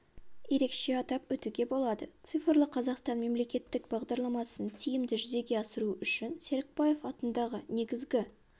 ерекше атап өтуге болады цифрлы қазақстан мемлекеттік бағдарламасын тиімді жүзеге асыру үшін серікбаев атындағы негізгі